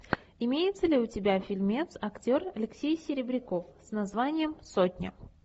имеется ли у тебя фильмец актер алексей серебряков с названием сотня